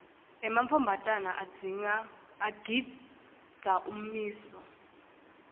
emantfombatana agindza ummiso